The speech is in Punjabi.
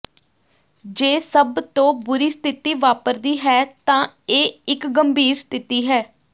ਜੇ ਸਭ ਤੋਂ ਬੁਰੀ ਸਥਿਤੀ ਵਾਪਰਦੀ ਹੈ ਤਾਂ ਇਹ ਇਕ ਗੰਭੀਰ ਸਥਿਤੀ ਹੈ